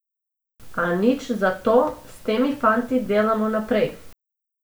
A nič za to, s temi fanti delamo naprej.